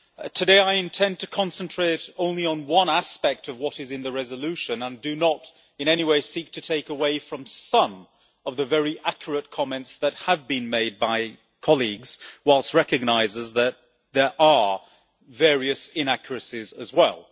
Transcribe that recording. Today, I intend to concentrate only on one aspect of what is in the resolution and do not in any way seek to take away from some of the very accurate comments that have been made by colleagues, whilst recognising that there are various inaccuracies as well.